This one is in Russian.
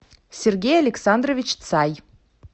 сергей александрович цай